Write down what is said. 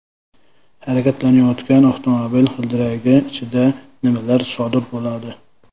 Harakatlanayotgan avtomobil g‘ildiragi ichida nimalar sodir bo‘ladi?